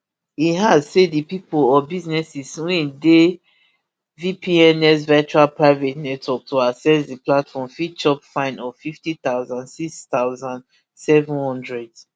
e add say di pipo or businesses wey dey vpns virtual private network to access di platform fit chop fine of rfifty thousand six thousand, seven hundred